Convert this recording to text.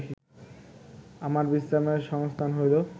আমার বিশ্রামের সংস্থান হইল